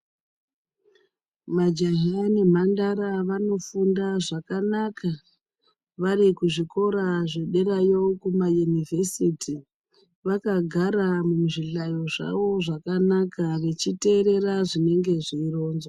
Majaha nemhandara vanofunda zvakanaka varikuzvikora zvederayo kumayunivhesiti vakagara muzvihlayo zvavo zvakanaka vechiteerera zvinenge zveironzwa.